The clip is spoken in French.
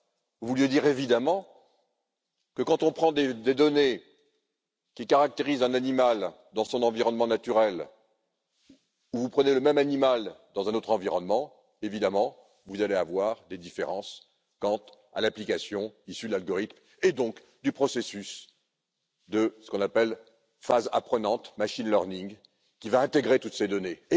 Vous vouliez évidemment dire que, lorsqu'on prend des données qui caractérisent un animal dans son environnement naturel, si l'on prend le même animal dans un autre environnement, évidemment, vous allez avoir des différences quant à l'application issue de l'algorithme et donc du processus de ce qu'on appelle phase apprenante, machine learning qui va intégrer toutes ces données.